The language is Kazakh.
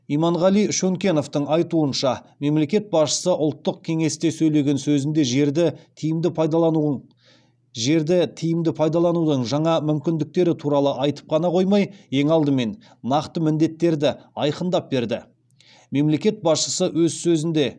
иманғали шөнкеновтың айтуынша мемлекет басшысы ұлттық кеңесте сөйлеген сөзінде жерді тиімді пайдаланудың жаңа мүмкіндіктері туралы айтып қана қоймай ең алдымен нақты міндеттерді айқындап берді